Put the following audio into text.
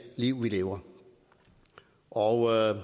liv vi lever og